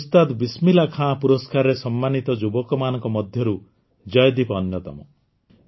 ଉସ୍ତାଦ ବିସମିଲ୍ଲାହ୍ ଖାନ ପୁରସ୍କାରରେ ସମ୍ମାନିତ ଯୁବକମାନଙ୍କ ମଧ୍ୟରୁ ଜୟଦୀପ ଅନ୍ୟତମ